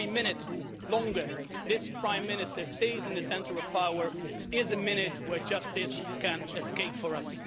And every minute longer this Prime Minister stays in the centre of power is a minute where justice can escape for us.